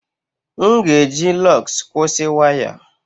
M ga-eji lugs kwụsị waya.